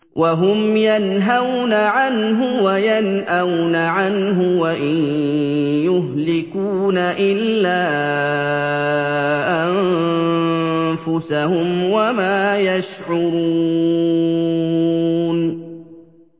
وَهُمْ يَنْهَوْنَ عَنْهُ وَيَنْأَوْنَ عَنْهُ ۖ وَإِن يُهْلِكُونَ إِلَّا أَنفُسَهُمْ وَمَا يَشْعُرُونَ